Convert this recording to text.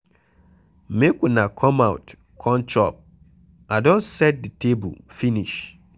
Make una come out come chop I don set the table finish.